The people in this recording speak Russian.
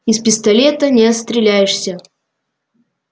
из пистолета не отстреляешься